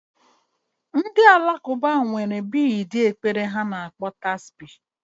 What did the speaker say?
Ndị Alakụba nwere bidi ekpere ha na akpọ Tasbi